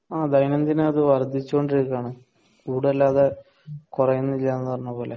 ആ ദൈന്യനദിനം അത് വർധിച്ചു കൊണ്ടിരിക്കുവാണ് കൂടെല്ലാതെ കൊറയുന്നില്ലാന്ന് പറഞ്ഞ പോലെ